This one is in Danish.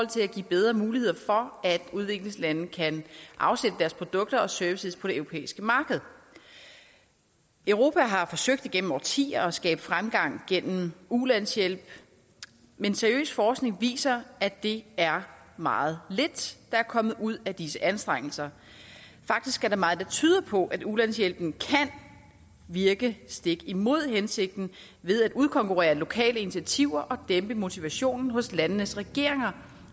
til at give bedre muligheder for at udviklingslande kan afsætte deres produkter og services på det europæiske marked europa har forsøgt igennem årtier at skabe fremgang gennem ulandshjælp men seriøs forskning viser at det er meget lidt der er kommet ud af disse anstrengelser faktisk er der meget der tyder på at ulandshjælpen kan virke stik imod hensigten ved at udkonkurrere lokale initiativer og dæmpe motivationen hos landenes regeringer